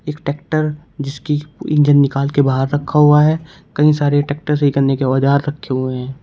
Tractor जिसकी engine निकाल के बाहर रखा हुआ है कई सारे ट्रैक्टर सही करने के औजार रखें हुए हैं।